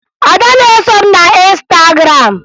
Ada na-eso m na Ịnstagram